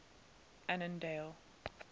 annandale